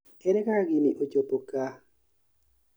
Ere kaka gini ochopo kaa*****